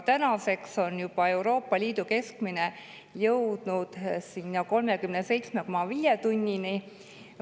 Tänaseks on Euroopa Liidu keskmine jõudnud aga juba 37,5 tunnini.